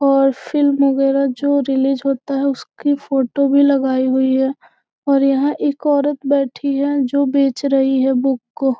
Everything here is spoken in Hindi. और फिल्म वगैरा जो रिलीज होता है उसकी फोटो भी लगाई हुई है और यह एक औरत बैठी है जो बेच रही है बुक को।